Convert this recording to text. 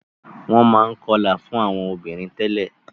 Wọ́n máa ń kọlà fún àwọn obìnrin tẹ́lẹ̀.